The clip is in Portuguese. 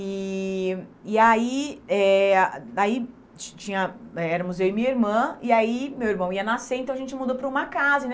E e aí eh, aí ti tinha eh éramos eu e minha irmã, e aí meu irmão ia nascer, então a gente mudou para uma casa, né?